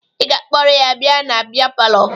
Ị ga-akpọrọ ya bịa na bịa palọ!